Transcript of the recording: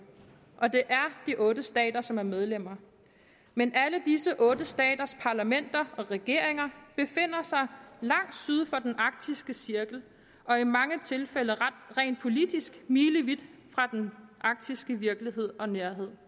og det er de otte stater som er medlemmer men alle disse otte staters parlamenter og regeringer befinder sig langt syd for den arktiske cirkel og i mange tilfælde rent politisk milevidt fra den arktiske virkelighed og nærhed